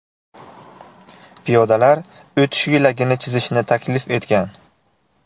Piyodalar o‘tish yo‘lagini chizishni taklif etgan.